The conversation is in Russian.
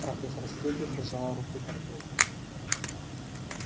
профессор стебль прижала руки ко рту